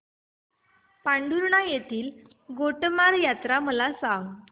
पांढुर्णा येथील गोटमार यात्रा मला सांग